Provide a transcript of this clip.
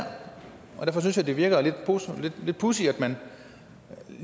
og derfor synes jeg det virker lidt pudsigt at man